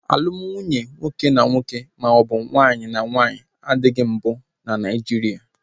Alumdị na nwunye nwoke na nwoke maọbụ nwaanyị na nwaanyị adịghị mbụ na Naijiria